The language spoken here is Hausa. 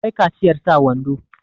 akwai kaciyar sa wando